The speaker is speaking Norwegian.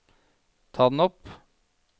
ta den opp